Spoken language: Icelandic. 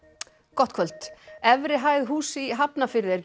gott kvöld efri hæð húss í Hafnarfirði er